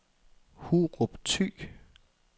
Hurup Thy